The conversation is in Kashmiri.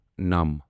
نَم